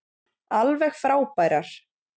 Alveg frábærar.